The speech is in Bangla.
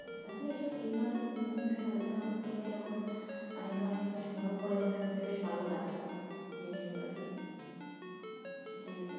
আসলে বিভিন্ন বিষয় আলোচনা করতে গেলে এরকম অনেক ধরণের কিছু কিছু মনেও পরে এবং শুনতে বেশ ভালোও লাগে জিনিসগুলো আরকি সেটাই হচ্ছে কথা